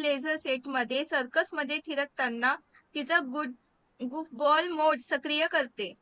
blazer मध्ये circus मध्ये फिरकताना तिचा ball mod सक्रिया करते